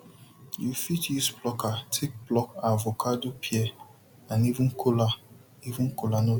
you fit use plucker take pluk avocado pear and even kola even kola nut